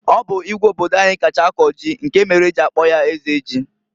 Ọ bụ Igwe obodo anyị kacha akọ ji, nke mere e ji akpọ ya Eze Ji.